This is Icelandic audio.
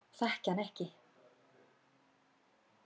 Þekki hann ekki.